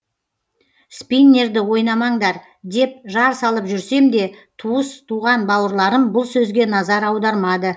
спиннерді ойнамаңдар деп жар салып жүрсем де туыс туған бауырларым бұл сөзге назар аудармады